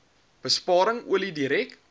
besparing olie direk